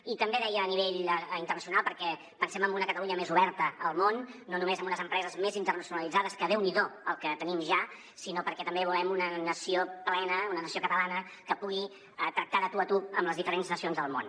i també deia a nivell internacional perquè pensem en una catalunya més oberta al món no només amb unes empreses més internacionalitzades que déu n’hi do el que tenim ja sinó perquè també volem una nació plena una nació catalana que pugui tractar de tu a tu amb les diferents nacions del món